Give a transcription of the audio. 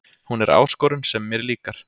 Hún er áskorun sem mér líkar